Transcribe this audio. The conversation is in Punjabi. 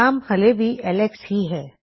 ਨਾਮ ਹਲੇ ਵੀ ਐੱਲਕਸ ਹੀ ਹੈ